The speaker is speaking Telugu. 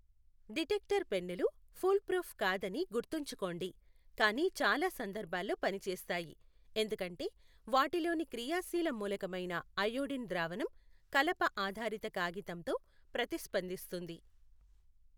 డిటెక్టర్ పెన్నులు ఫూల్ప్రూఫ్ కాదని గుర్తుంచుకోండి, కానీ చాలా సందర్భాల్లో పనిచేస్తాయి ఎందుకంటే వాటిలోని క్రియాశీల మూలకమైన అయోడిన్ ద్రావణం కలప ఆధారిత కాగితంతో ప్రతిస్పందిస్తుంది.